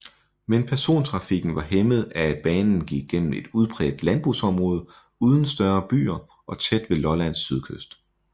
Men persontrafikken var hæmmet af at banen gik gennem et udpræget landbrugsområde uden større byer og tæt ved Lollands sydkyst